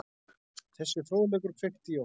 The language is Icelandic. Þessi fróðleikur kveikti í okkur.